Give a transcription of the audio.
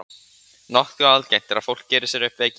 nokkuð algengt er að fólk geri sér upp veikindi